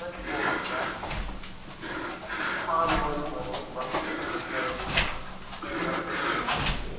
மாறி, மாறி போகனும், bus , train ன்னா. சரிங்க. Bus ன்னா, அந்த மாதிரி இல்லை, இல்லை. ம்